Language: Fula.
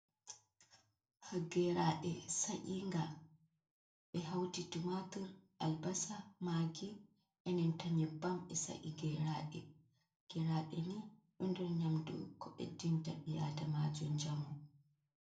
Geraɗe sa’inga ɓe hauti tumatur albasa magi enanta nyebbam be sa’i gerade gerade ni ɗon nder nyamdu ko beddinta bi adamajo njamu.